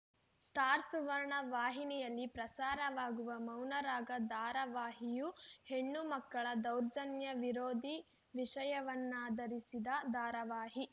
star Suvarna ವಾಹಿನಿಯಲ್ಲಿ ಪ್ರಸಾರವಾಗುವ ಮೌನರಾಗ ಧಾರಾವಾಹಿಯೂ ಹೆಣ್ಣು ಮಕ್ಕಳ ದೌರ್ಜನ್ಯ ವಿರೋಧಿ ವಿಷಯವನ್ನಾಧರಿಸಿದ ಧಾರಾವಾಹಿ